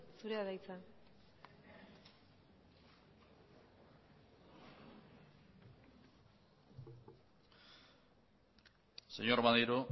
zurea da hitza señor maneiro